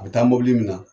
A bɛ taa mobili min na